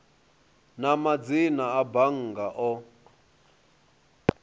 na madzina a bannga o